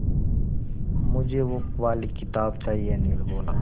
मुझे वो वाली किताब चाहिए अनिल बोला